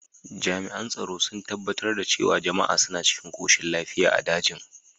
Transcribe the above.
Jami’an tsaro sun tabbatar da cewa jama’a suna cikin koshin lafiya a dajin.